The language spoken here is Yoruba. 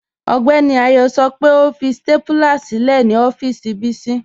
Ọgbẹ́ni Ayọ́ sọ́ pẹ́ ọ fi stápúlà sílẹ̀ ni ọ̀fíìsì Bisi